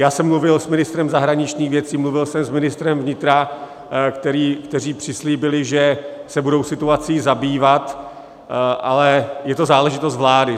Já jsem mluvil s ministrem zahraničních věcí, mluvil jsem s ministrem vnitra, kteří přislíbili, že se budou situací zabývat, ale je to záležitost vlády.